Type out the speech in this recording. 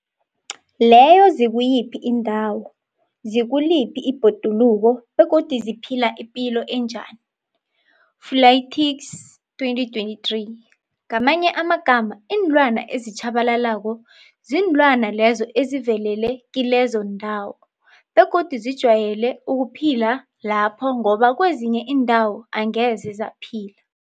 Leyo zikuyiphi iindawo, zikuliphi ibhoduluko, begodu ziphila ipilo enjani, Fuanlaytics 2023. Ngamanye amagama, iinlwana ezitjhabalalako kuziinlwana lezo ezivelele kilezo ndawo, begodu zijwayele ukuphila lapho ngoba kwezinye iindawo angeze zaphila.